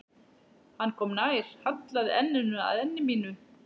Hann kom nær, hallaði enninu að enni mínu.